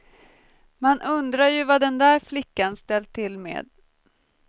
Man undrar ju vad den där flickan ställt till med.